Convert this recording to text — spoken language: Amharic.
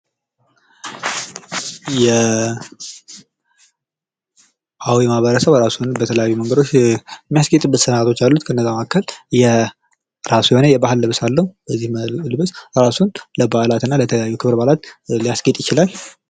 የአዊ ማህበረሰብ የራሱ የሆነ በተለያዩ መንገዶች የሚያስጌጥበት ስርዓቶች አሉት ። ከእነዛም መካከል የራሱ የሆነ የባህል ልብስ አለው ። ይህን በመልበስ ራሱን ለባህላትና ለተለያዩ ክብረ በዓላት ሊያስጌጥ ይችላል ።